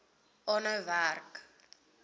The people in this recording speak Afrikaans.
aanhou werk